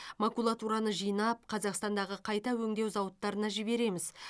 макулатураны жинап қазақстандағы қайта өңдеу зауыттарына жібереміз